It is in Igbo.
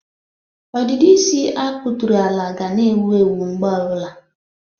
Ọdịdị isi a kpụtụrụ ala ga na-ewu ewu mgbe ọbụla.